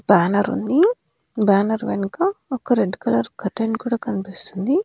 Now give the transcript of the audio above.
Banner ఉంది banner వెనుక ఒక రెడ్ కలర్ కర్టెన్ కూడా కనిపిస్తుంది.